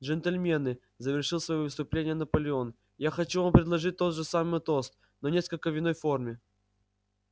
джентльмены завершил своё выступление наполеон я хочу вам предложить тот же самый тост но несколько в иной форме